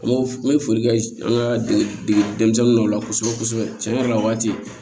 N bɛ n bɛ foli kɛ an ka degeden dɔ la kosɛbɛ kosɛbɛ tiɲɛ yɛrɛ la o waati